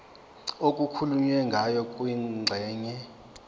okukhulunywe ngayo kwingxenye